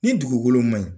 Ni dugukolo ma ɲi